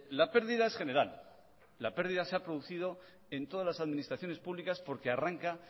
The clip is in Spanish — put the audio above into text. la pérdida es general la pérdida se ha producido en todas las administraciones públicas porque arranca